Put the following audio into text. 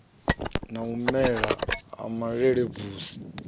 na u mela ha malelebvudzi